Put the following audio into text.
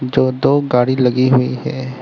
जो दो गाड़ी लगी हुई है।